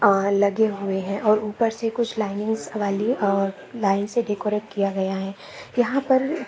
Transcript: और लगे हुए है और उपर से कुछ लाइन्स वाली और लाइन्स से डेकोरेट किया गया है यहाँ पर--